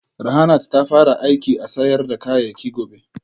Rahanart ta fara aiki a sayar da kayayyaki gobe